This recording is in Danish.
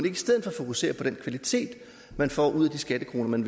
i stedet for fokusere på den kvalitet man får ud af de skattekroner man